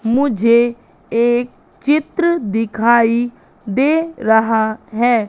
मुझे एक चित्र दिखाई दे रहा हैं।